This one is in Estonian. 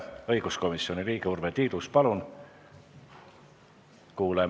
Õiguskomisjoni liige Urve Tiidus, palun!